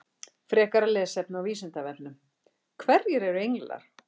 Frekara lesefni á Vísindavefnum: Hverjir eru englar?